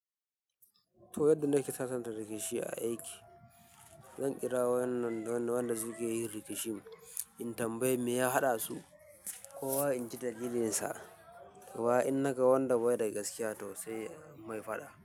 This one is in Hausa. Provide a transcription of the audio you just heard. To yadda na ke sasanta rikici a aiki, zan kira wayan nan dole wanda suke yin rikicin in tambayi me ya haɗa su ko wa in ji da lilinsa. Kowa in naga wanda bai da gaskiya toh sai in mai faɗa.